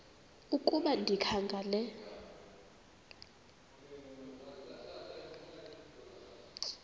ukuba ndikha ngela